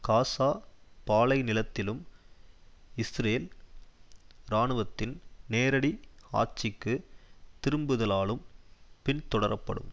காசா பாலைநிலத்திலும் இஸ்ரேல் இராணுவத்தின் நேரடி ஆட்சிக்கு திரும்புதலாலும் பின்தொடரப்படும்